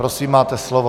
Prosím, máte slovo.